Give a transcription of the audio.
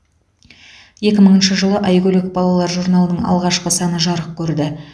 екі мыңыншы жылы айгөлек балалар журналының алғашқы саны жарық көрді